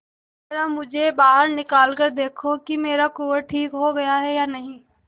जरा मुझे बाहर निकाल कर देखो कि मेरा कुंवर ठीक हो गया है या नहीं